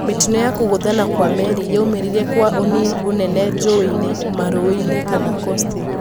mitino ya kũguthana kwa meri yaumirire kwa ũnene njowe-ini, marowe-ini kana kosti